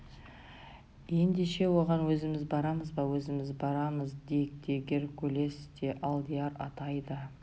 ендеше оған өзіміз барамыз ба өзіміз барамыз дик те геркулес те алдияр атай да